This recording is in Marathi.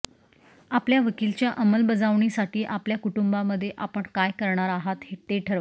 आपल्या वकीलच्या अंमलबजावणीसाठी आपल्या कुटुंबामध्ये आपण काय करणार आहात ते ठरवा